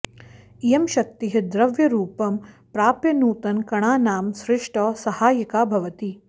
इयं शक्तिः द्रव्यरूपं प्राप्य नूतनकणानां सृष्टौ सहायिका भवति